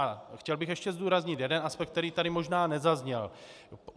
A chtěl bych ještě zdůraznit jeden aspekt, který tady možná nezazněl.